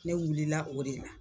Ne wulila o de la.